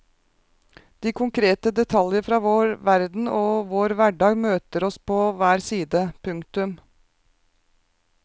De konkrete detaljer fra vår verden og vår hverdag møter oss på hver side. punktum